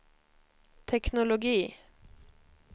teknologi